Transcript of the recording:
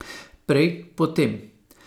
Prej, potem?